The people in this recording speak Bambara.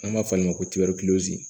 An b'a fɔ o ma ko